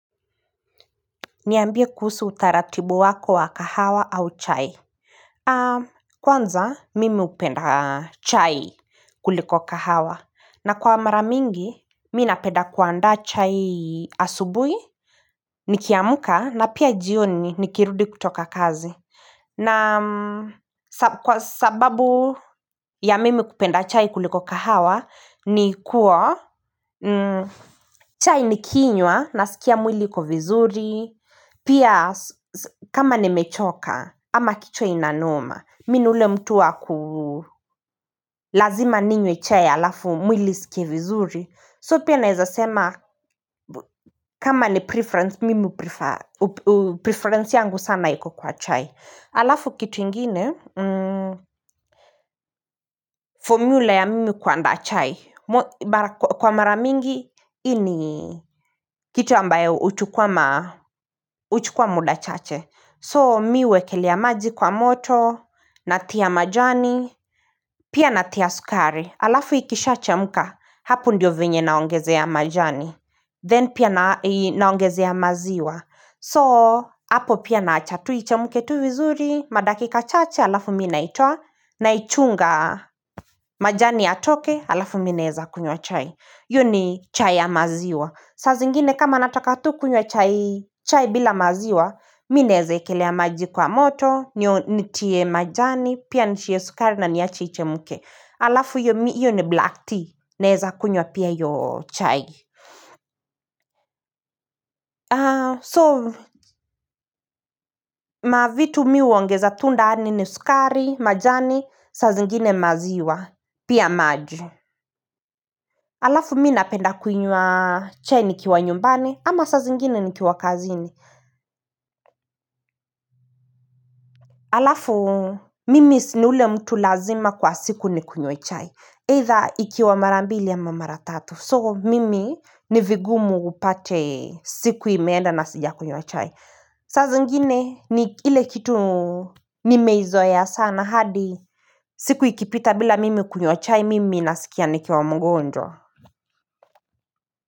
Niambie kuhusu utaratibu wako wa kahawa au chai. Kwanza, mimi hupenda chai kuliko kahawa. Na kwa maramingi, mi napenda kuandaa chai asubuhi, nikiamka na pia jioni nikirudi kutoka kazi. Na kwa sababu ya mimi kupenda chai kuliko kahawa, ni kuwa chai nikinywa na sikiamwili uko vizuri. Pia kama nimechoka ama kichwa ina noma Mi ni ule mtu wa lazima ninywe chai halafu mwili isikie vizuri So pia naezasema kama ni preference mimi huprefer Preference yangu sana yiku kwa chai Alafu kitu ingine Formula ya mimi kuandaa chai Kwa maramingi ni kitu ambayo huchukuwa muda chache So mi huwekelea maji kwa moto, natia majani, pia natia sukari, alafu ikishachemka, hapo ndio vyenye naongezea majani Then pia naongezea maziwa So hapo pia naacha tu ichemke tu vizuri, madakika chache, alafu mi naitoa, naichunga majani yatoke, alafu mi naeza kunywa chai hiyo ni chai ya maziwa. Saa zingine kama nataka tu kunywa chai bila maziwa, mi naezekelea maji kwa moto, nitie majani, pia nitie sukari na niache ichemke. Alafu hiyo ni black tea, naweza kunywa pia hiyo chai. So, mavitu mi huongeza tu ndani ni sukari, majani, saa zingine maziwa, pia maji. hAlafu mi napenda kuinywa chai nikiwa nyumbani, ama saa zingine nikiwa kazini. Alafu mimi ni ule mtu lazima kwa siku ni kunywe chai Either ikiwa marambili au mara tatu So mimi nivingumu upate siku imeenda na sijakunywa chai saa zingine ni ile kitu nimeizoea sana hadi siku ikipita bila mimi kunywa chai mimi nasikia nikiwa mgonjwa.